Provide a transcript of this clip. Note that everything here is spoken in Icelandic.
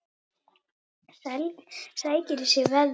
Sækir í sig veðrið.